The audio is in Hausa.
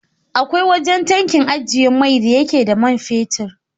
Akwai wajan tankin ajjiye mai da yake tana da man fetid